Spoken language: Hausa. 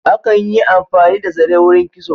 Akan yi amfani da zare wurin kitso.